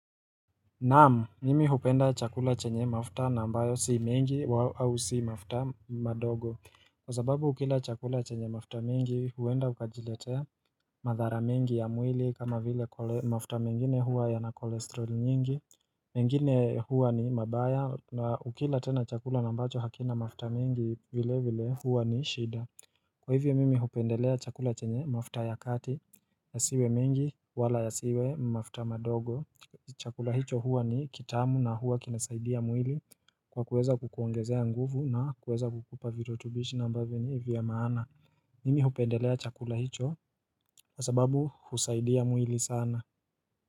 Naamu, mimi hupenda chakula chenye mafuta nambayo si mingi au si mafuta madogo Kwa sababu ukila chakula chenye mafta mingi huenda ukajiletea madhara mengi ya mwili kama vile mafuta mingine huwa ya na kolesterol nyingi mengine huwa ni mabaya na ukila tena chakula nambacho hakina mafta mingi vile vile huwa ni shida Kwa hivyo mimi hupendelea chakula chenye mafuta ya kati yasiwe mengi wala ya siwe mafuta madogo Chakula hicho huwa ni kitamu na huwa kinasaidia mwili kwa kuweza kukuongezea nguvu na kuweza kukupa virotubishi na mbavyo ni vya maana mimi hupendelea chakula hicho kwasababu husaidia mwili sana.